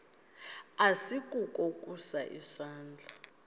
asikukho ukusa isandla